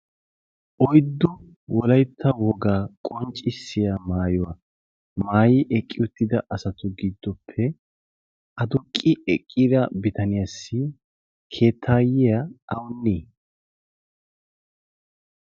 oyddo wolaytta wogaa qonccissiya maayuwaa maayi eqqi uttida asatu giddoppe a durqqi eqqiira bitaniyaassi keettaayyiya aunni